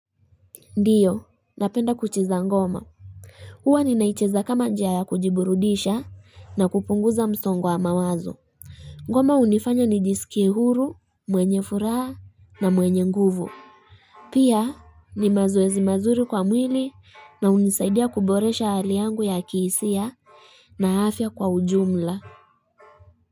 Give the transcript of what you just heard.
Ndiyo, napenda kucheza ngoma. Huwa ninaicheza kama njia ya kujiburudisha na kupunguza msongo wa mawazo. Ngoma hunifanya nijiskie huru, mwenye furaha na mwenye nguvu. Pia, ni mazoezi mazuri kwa mwili na hunisaidia kuboresha hali yangu ya kihisia na afya kwa ujumla.